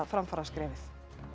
framfaraskrefið